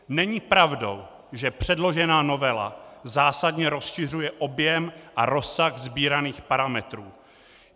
Není pravdou, že předložená novela zásadně rozšiřuje objem a rozsah sbíraných parametrů.